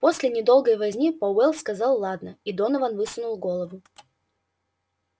после недолгой возни пауэлл сказал ладно и донован высунул голову